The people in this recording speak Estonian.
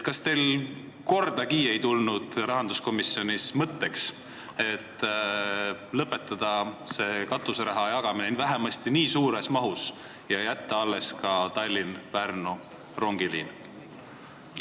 Kas teil rahanduskomisjonis ei tulnud kordagi mõtet lõpetada katuseraha jagamine vähemasti nii suures mahus ja jätta alles ka Tallinna–Pärnu rongiliin?